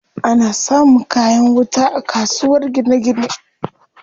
Ana samun kayan wuta a kasuwar gine gine.